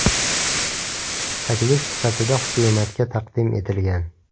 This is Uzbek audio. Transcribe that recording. Taklif sifatida hukumatga taqdim etilgan.